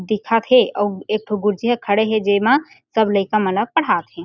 दिखत हे अउ एक ठो गुरुजी ह खड़े हे जेमा सब लइका मन ला पढात हे।